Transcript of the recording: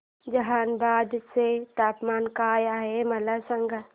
जहानाबाद चे तापमान काय आहे मला सांगा